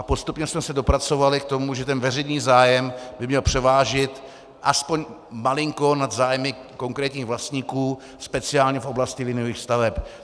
A postupně jsme se dopracovali k tomu, že ten veřejný zájem by měl převážit aspoň malinko nad zájmy konkrétních vlastníků, speciálně v oblasti liniových staveb.